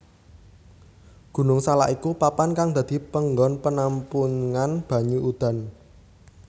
Gunung Salak iku papan kang dadi panggon penampungan banyu udan